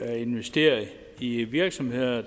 at investere i virksomheder